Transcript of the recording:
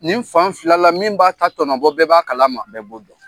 Nin fan fila la min b'a ta tɔnɔ bɔ bɛɛ b'a kalama. Bɛɛ b'o dɔn.